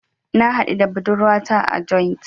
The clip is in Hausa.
Na haɗu da budurwata a joint.